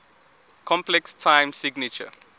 complex time signature